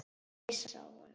Hissa á honum.